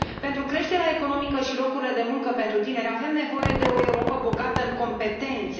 Pentru creșterea economică și locurile de muncă pentru tineri avem nevoie de o Europă bogată în competențe.